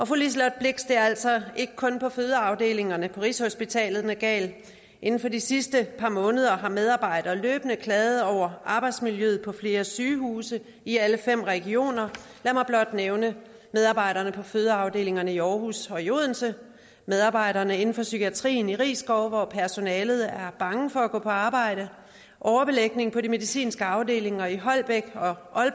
fru liselott blixt at det altså ikke kun er på fødeafdelingerne på rigshospitalet den er gal inden for de sidste par måneder har medarbejdere løbende klaget over arbejdsmiljøet på flere sygehuse i alle fem regioner lad mig blot nævne medarbejderne på fødeafdelingerne i aarhus og i odense medarbejderne inden for psykiatrien i risskov hvor personalet er bange for at gå på arbejde og overbelægningen på de medicinske afdelinger i holbæk